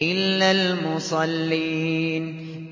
إِلَّا الْمُصَلِّينَ